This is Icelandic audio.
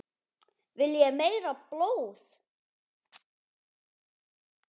Viljið þið meira blóð?